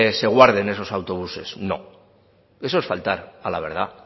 se guarden esos autobuses no eso es faltar a la verdad